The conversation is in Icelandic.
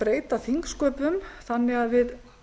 breyta þingsköpum þannig að við